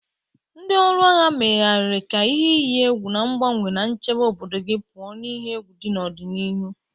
Ndị ọrụ agha, megharịa ka ihe iyi egwu na-agbanwe ma chebe obodo gị pụọ n'ihe egwu dị n'ọdịnihu.